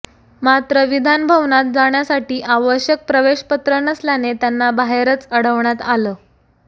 मात्र विधान भवनात जाण्यासाठी आवश्यक प्रवेश पत्र नसल्याने त्यांना बाहेरच अडवण्यात आलं